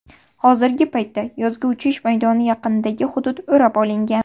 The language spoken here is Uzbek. Hozirgi paytda yozgi uchish maydoni yaqinidagi hudud o‘rab olingan.